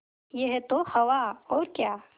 यह तो हवा और क्या